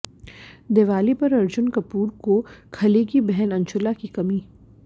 दिवाली पर अर्जुन कपूर को खलेगी बहन अंशुला की कमी